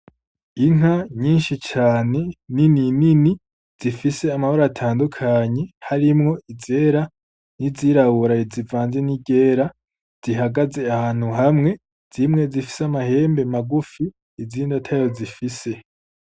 Inka nyinshi cane ninini ninini zifise amabara atandukanye harimwo izera n’izirabura izivanze n’iryera, zihagaze ahantu hamwe zimwe zifise amahembe magufi izindi atayo zifise.